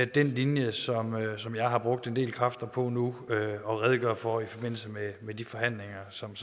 den linje som som jeg har brugt en del kræfter på nu at redegøre for i forbindelse med de forhandlinger som